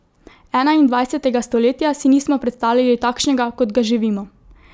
Enaindvajsetega stoletja si nismo predstavljali takšnega, kot ga živimo.